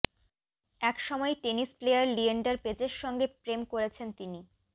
একসময় tennis player Leander পেজের সঙ্গে প্রেম করেছেন তিনি